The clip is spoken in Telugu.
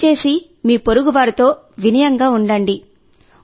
దయచేసి మీ పొరుగువారితో వినయంగా ఉండండి